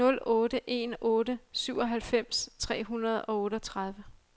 nul otte en otte syvoghalvfems tre hundrede og otteogtredive